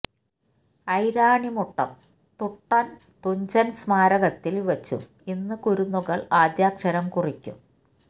ഐരാണിമുട്ടം തുട്ടം തുഞ്ചൻ സ്മാരകത്തിൽ വച്ചും ഇന്ന് കുരുന്നുകള് ആദ്യാക്ഷരം കുറിക്കും